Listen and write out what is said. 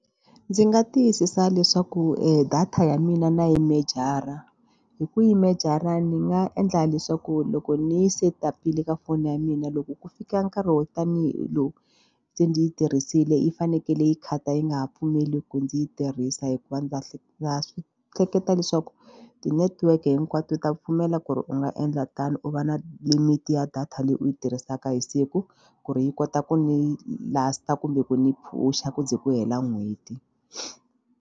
Ndzi nga tiyisisa leswaku data ya mina na yi mejara hi ku yi mejara ni nga endla leswaku loko ni yi setup-ile ka foni ya mina loko ku fika nkarhi wo tanihi lowu ndzi yi tirhisile yi fanekele yi khata yi nga ha pfumeli ku ndzi yi tirhisa hikuva ndza ndza swi hleketa leswaku ti-network hinkwato ta pfumela ku ri u nga endla tano u va na limit ya data leyi u yi tirhisaka hi siku ku ri yi kota ku ni last kumbe ku ni push-a ku ze ku hela n'hweti.